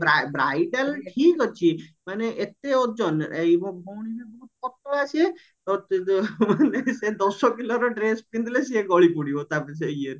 bridal ଠିକ ଅଛି ମାନେ ଏତେ ଓଜନ ମୋ ଭଉଣୀ ପା ପତଳା ସିଏ ଦଶ କିଲର ଡ୍ରେସ ପିନ୍ଧିଲେ ସେ ଗଳିପଡିବ